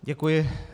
Děkuji.